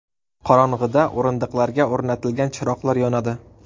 Qorong‘ida o‘rindiqlarga o‘rnatilgan chiroqlar yonadi.